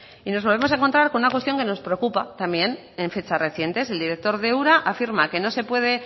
y nos volvemos a encontrar con una cuestión que nos preocupa también en fechas recientes el director de ura afirma que no se puede